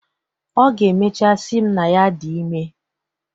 Ọ ga-emechaa sị m na ya dị ime.